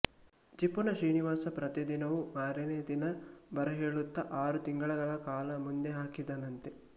ಜಿಪುಣ ಶ್ರೀನಿವಾಸ ಪ್ರತಿ ದಿನವೂ ಮಾರನೆಯ ದಿನ ಬರಹೇಳುತ್ತ ಆರು ತಿಂಗಳುಗಳ ಕಾಲ ಮುಂದೆ ಹಾಕಿದನಂತೆ